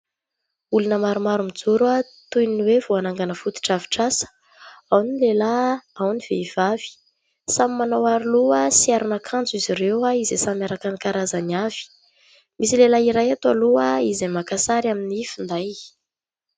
Olona maromaro mijoro toy ny hoe vao hanangana fotodrafitrasa : ao ny lehilahy, ao ny vehivavy. Samy manao aroloha sy aron'akanjo izy ireo, izay samy araka ny karazany avy. Misy lehilahy iray ato aloha izay maka sary amin'ny finday.